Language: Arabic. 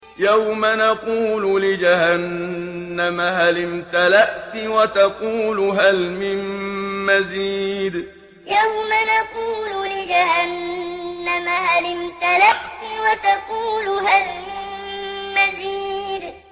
يَوْمَ نَقُولُ لِجَهَنَّمَ هَلِ امْتَلَأْتِ وَتَقُولُ هَلْ مِن مَّزِيدٍ يَوْمَ نَقُولُ لِجَهَنَّمَ هَلِ امْتَلَأْتِ وَتَقُولُ هَلْ مِن مَّزِيدٍ